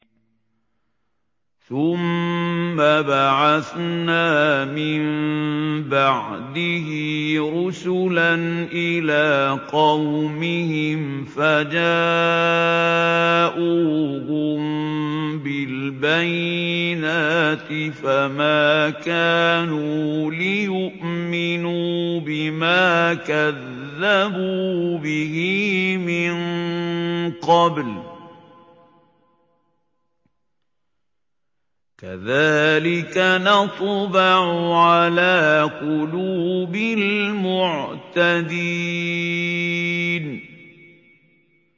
ثُمَّ بَعَثْنَا مِن بَعْدِهِ رُسُلًا إِلَىٰ قَوْمِهِمْ فَجَاءُوهُم بِالْبَيِّنَاتِ فَمَا كَانُوا لِيُؤْمِنُوا بِمَا كَذَّبُوا بِهِ مِن قَبْلُ ۚ كَذَٰلِكَ نَطْبَعُ عَلَىٰ قُلُوبِ الْمُعْتَدِينَ